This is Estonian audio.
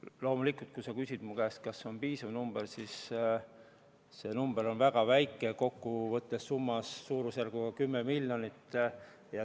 Loomulikult, kui sa küsid mu käest, kas see on piisav, siis ma ütlen, et see arv on väga väike, kokku võttes on summa suurusjärk 10 miljonit.